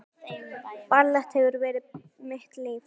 Ballett hefur verið mitt líf